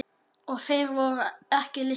Og þeir voru ekki litlir.